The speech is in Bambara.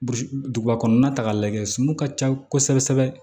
Duguba kɔnɔna ta k'a lajɛ sunu ka ca kosɛbɛ kosɛbɛ